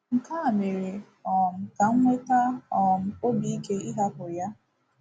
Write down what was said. Nke a mere um ka m nweta um obi ike ịhapụ ya.